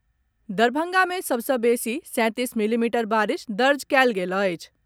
दरभंगा मे सभ सॅ बेसी सैतीस मिलीमीटर बारिश दर्ज कयल गेल अछि।